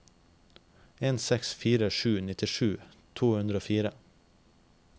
en seks fire sju nittisju to hundre og fire